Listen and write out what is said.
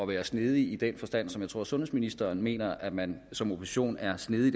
være snedig i den forstand som jeg tror sundhedsministeren mener at man som opposition er snedig